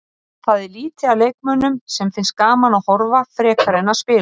Það er lítið af leikmönnum sem finnst gaman að horfa frekar en að spila.